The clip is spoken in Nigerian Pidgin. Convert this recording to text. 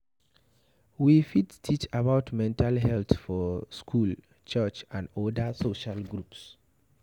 We fit teach about mental health for school, church and oda social groups